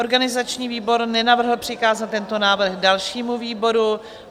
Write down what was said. Organizační výbor nenavrhl přikázat tento návrh dalšímu výboru.